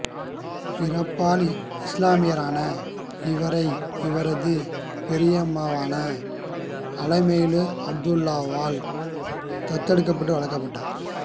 பிறப்பால் இசுலாமியரான இவரை இவரது பெரியம்மாவான அலுமேலு அப்துல்லாவால் தத்தெடுத்து வளர்க்கபட்டார்